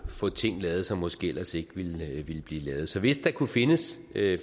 få ting lavet som måske ellers ikke ville blive lavet så hvis der kunne findes